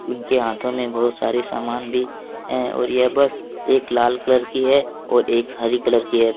उनके हाथों में बहुत सारे सामान भी हैं और यह बस एक लाल कलर की है और एक हरी कलर की है।